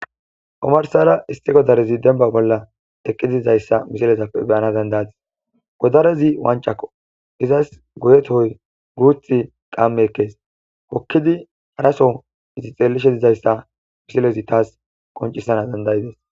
Omarsara issi godarezi denba bolla ekki didizayssa misilezappe beyana dandayates godarezi wancakko izas goyetoy guuth qamme ekkees okkidi araso itixeelishe dizayssa misilezi taas qoncisana dandayides.